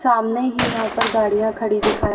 सामने ही यहां पर गाड़ियां खड़ी दिखा--